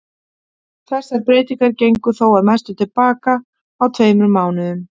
Þessar breytingar gengu þó að mestu til baka á um tveimur mánuðum.